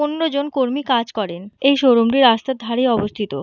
পনেরো জন কর্মী কাজ করেন। এই শো রুম টি রাস্তার ধরেই অবস্থিত।